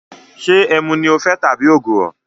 Ṣé ẹmu ni o fẹ tabi ògùrọ̀?